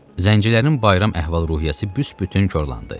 Zəncilərin bayram əhval-ruhiyyəsi büsbütün korlandı.